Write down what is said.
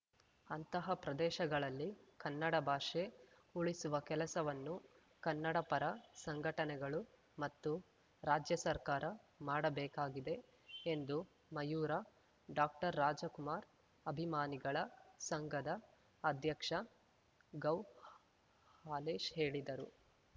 ಅಂತಹ ಪ್ರದೇಶಗಳಲ್ಲಿ ಕನ್ನಡ ಭಾಷೆ ಉಳಿಸುವ ಕೆಲಸವನ್ನು ಕನ್ನಡ ಪರ ಸಂಘಟನೆಗಳು ಮತ್ತು ರಾಜ್ಯ ಸರ್ಕಾರ ಮಾಡಬೇಕಾಗಿದೆ ಎಂದು ಮಯೂರ ಡಾಕ್ಟರ್ರಾಜಕುಮಾರ್‌ ಅಭಿಮಾನಿಗಳ ಸಂಘದ ಅಧ್ಯಕ್ಷ ಗೌಹಾಲೇಶ್‌ ಹೇಳಿದರು